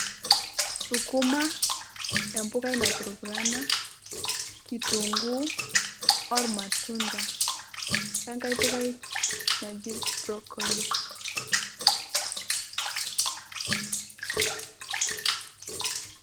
Sukuma, empukai, napurupurana, olmatunda wenkae pukai Naji broccoli